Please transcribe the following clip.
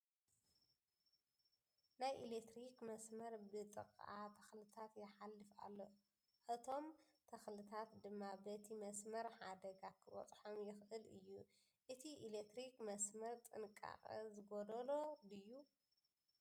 ናይ ኤለክትሪክ መስመር ብ ጥቃ ተክልታት ይሓልፍ እሎ ። ኣቶም ትክልታት ድማ በቲ መስመር ሓደጋ ክበፅሖም ይክእል እዩ ። እቲ ኤለክትሪክ መስመር ጥንቃቀ ዝጎደሎ ድዩ ?